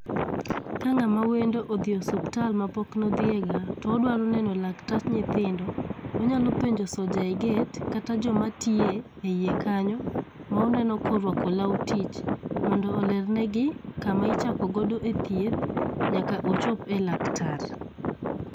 Ka ng'ama wendo odhi e osiptal mapok nodhiyega todwaro neno laktach nyithindo, onyalo penjo soja e gate kata joma tiyo eiye kanyo, moneno korwako law tich mondo oler negi kama ichako godo e thieth, nyaka ochop e laktar…